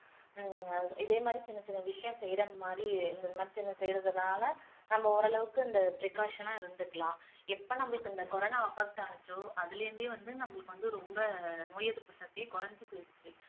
ஹம் இதேமாதிரி சின்ன சின்ன விஷயம் செய்யற மாதிரி செய்றதுனால நம்ம ஓரளவுக்கு இந்த precaution ஆ இருந்துக்கலாம் எப்போ நம்மளுக்கு இந்த கொரோனா affect ஆச்சோ அதுல இருந்தே வந்து நம்மளுக்கு வந்து ரொம்ப நோய் எதிர்ப்பு சக்தி குறைஞ்சி போயிடுச்சு